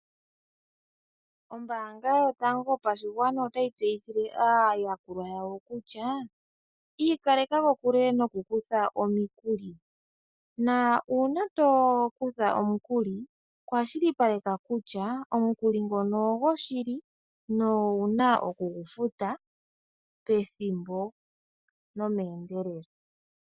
Ombanga yotango yopashigwana otayi tseyi thile aayakulwa yawo kutya ika leka kokule oku kutha omikuli, na una tokutha omukuli kwashi li paleka kutya omukuli ngono ogo shili nowuna oku gu futa pethimbo nomendelelo.